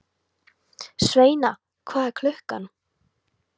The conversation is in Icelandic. Sveina, hvað er klukkan?